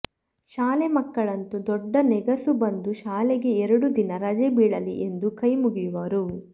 ಶಾಲೆ ಮಕ್ಕಳಂತೂ ದೊಡ್ಡ ನೆಗಸು ಬಂದು ಶಾಲೆಗೆ ಎರಡು ದಿನ ರಜೆ ಬೀಳಲಿ ಎಂದು ಕೈಮುಗಿಯುವರು